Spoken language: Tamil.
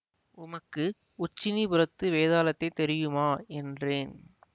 உமக்கு உச்சினிபுரத்து வேதாளத்தைத் தெரியுமா என்றேன்